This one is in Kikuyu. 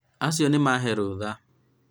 acio nĩmahe rũtha